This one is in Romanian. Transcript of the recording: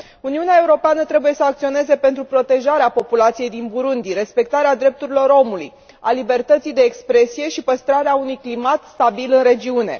Uniunea Europeană trebuie să acționeze pentru protejarea populației din Burundi, respectarea drepturilor omului, a libertății de expresie și păstrarea unui climat stabil în regiune.